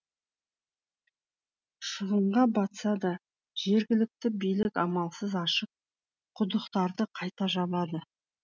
шығынға батса да жергілікті билік амалсыз ашық құдықтарды қайта жабады